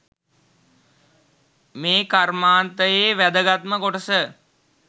මේ කර්මාන්තයේ වැදගත්ම කොටස.